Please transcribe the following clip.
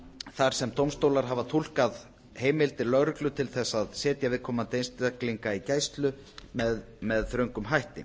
þar sem dómstólar hafa túlkað heimildir lögreglu til þess að setja viðkomandi einstaklinga í gæslu með þröngum hætti